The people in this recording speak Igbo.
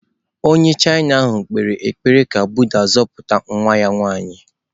Onye China ahụ kpere ekpere ka Buddha zọpụta nwa ya nwanyị.